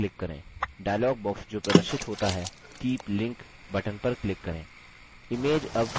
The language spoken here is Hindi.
dialog box जो प्रदर्शित होता है keep link button पर click करें